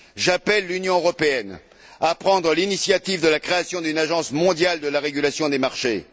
J'appelle l'Union européenne à prendre l'initiative de la création d'une agence mondiale de la régulation des marchés.